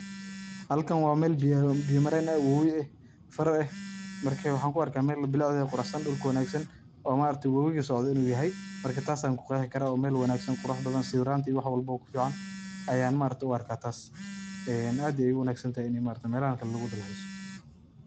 Halkan waa meel biyo biyo mareen eh, wobi eh, far eh. Marka, waxaan ku arkaa meel bilacdeeda quracsan, dhulka wanaagsan oo socodo inuu yahay. Marka, taas ayaan ku qeehi karaa oo meel wanagsan, qurux badan, sawiraanta iyo waxwalbo ku ficaan ayaan u arkaa taas. Ee aad ayaay u wanagsantahay inay meelahan o kale lugudalxiiso.